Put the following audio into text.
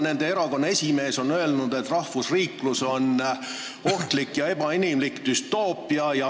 Nende erakonna esimees on öelnud, et rahvusriiklus on ohtlik ja ebainimlik düstoopia.